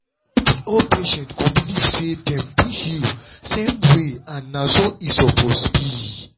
no be all patient go believe say dem fit heal same way and na so e suppose be.